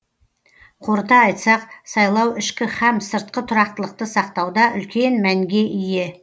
қорыта айтсақ сайлау ішкі һәм сыртқы тұрақтылықты сақтауда үлкен мәнге ие